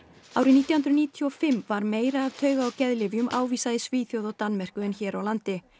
árið nítján hundruð níutíu og fimm var meira af tauga og geðlyfjum ávísað í Svíþjóð og Danmörku en hér á landi